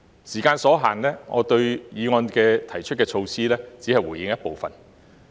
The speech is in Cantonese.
時間所限，對議案提出的措施，我只會回應一部分。